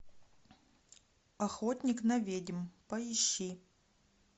охотник на ведьм поищи